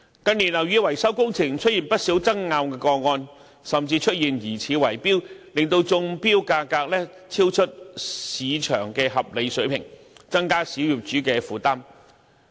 近年樓宇維修工程出現不少爭拗個案，甚至出現疑似圍標，令中標價超出市場的合理水平，增加小業主的負擔。